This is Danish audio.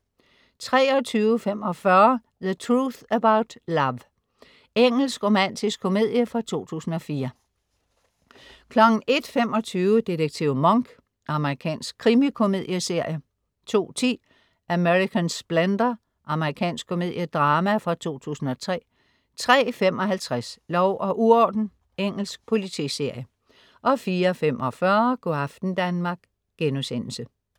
23.45 The Truth About Love. Engelsk romantisk komedie fra 2004 01.25 Detektiv Monk. Amerikansk krimikomedieserie 02.10 American Splendor. Amerikansk komediedrama fra 2003 03.55 Lov og uorden. Engelsk politiserie 04.45 Go' aften Danmark*